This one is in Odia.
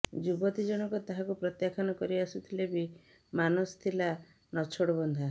ଯୁବତୀ ଜଣକ ତାହାକୁ ପ୍ରତ୍ୟାଖ୍ୟାନ କରିଆସୁଥିଲେ ବି ମାନସ ଥିଲା ନଛୋଡବନ୍ଧା